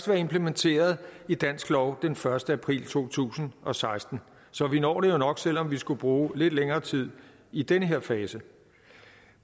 være implementeret i dansk lov den første april to tusind og seksten så vi når det jo nok selv om vi skulle bruge lidt længere tid i den her fase